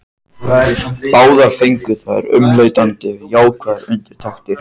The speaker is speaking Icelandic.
Báðar fengu þær umleitanir jákvæðar undirtektir.